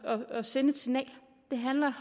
om at sende et signal det handler